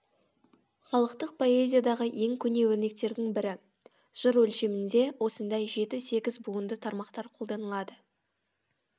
халықтық поэзиядағы ең көне өрнектердің бірі жыр өлшемінде осындай жеті сегіз буынды тармақтар қолданылады